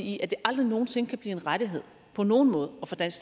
i at det aldrig nogen sinde kan blive en rettighed på nogen måde at få dansk